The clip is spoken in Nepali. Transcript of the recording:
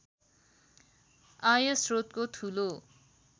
आयस्रोतको ठूलो